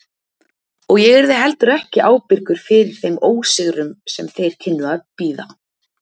Og ég yrði heldur ekki ábyrgur fyrir þeim ósigrum sem þeir kynnu að bíða.